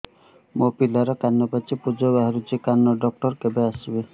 ମୋ ପିଲାର କାନ ପାଚି ପୂଜ ବାହାରୁଚି କାନ ଡକ୍ଟର କେବେ ଆସିବେ